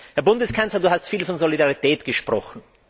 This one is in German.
Herr Bundeskanzler, du hast viel von Solidarität gesprochen.